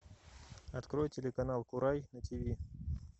открой телеканал курай на тв